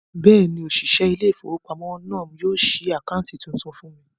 Bẹ́ẹ̀ni, òṣìṣẹ́ ilé-ìfowópamọ́sí náà yóò ṣí àkáǹtì tuntun fún mi